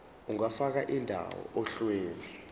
ungafaka indawo ohlelweni